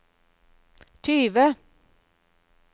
tyve